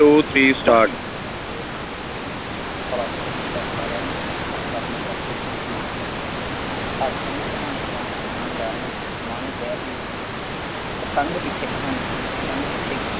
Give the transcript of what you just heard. one two three start ਪਹਿਲਾਂ ਹੁਣ ਸਤਿ ਸ਼੍ਰੀ ਅਕਾਲ ਸਾਰਿਆਂ ਨੂੰ, ਮੈਂ ਤੁਹਾਡਾ ਆਪਣਾ ਜਸਪ੍ਰੀਤ ਸਿੰਘ ਸਮਾਣੇ ਤੋਂ, ਅੱਜ ਤੁਹਾਨੂੰ ਇੱਕ ਕਹਾਣੀ ਕਰਾਉਣ ਸੁਣਾਉਣ ਜਾ ਰਿਹਾ, ਸਮਾਣੇ ਸ਼ਹਿਰ ਦੀ ਉਹ ਪਤੰਗ ਪਿੱਛੇ ਕਹਾਣੀ ਸੀਗੀ। ਪਤੰਗ ਪਿੱਛੇ